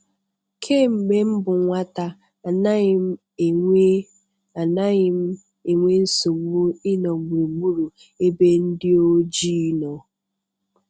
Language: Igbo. Kemgbe m bụ nwata, anaghị m enwe anaghị m enwe nsogbu ịnọ gburugburu ebe ndị ojii nọ.